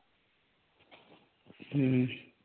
ഉം